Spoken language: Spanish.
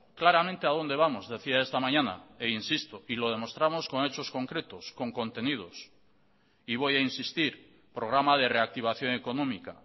claramente a donde vamos decía esta mañana e insisto y lo demostramos con hechos concretos con contenidos y voy a insistir programa de reactivación económica